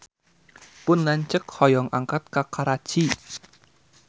Pun lanceuk hoyong angkat ka Karachi